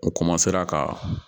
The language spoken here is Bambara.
U ka